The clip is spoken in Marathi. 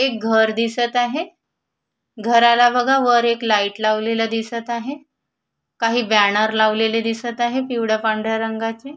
एक घर दिसत आहे घराला बघा वर एक लाईट लावलेलं दिसत आहे काही बॅनर लावलेले दिसत आहे पिवळ्या पांढऱ्या रंगाचे.